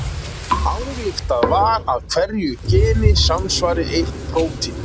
ályktað var að hverju geni samsvari eitt prótín